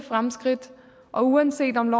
fremskridt og uanset om